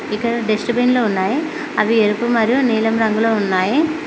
ఇక్కడ dustbin లో ఉన్నాయి అవి ఎరుపు మరియు నీలం రంగులో ఉన్నాయి.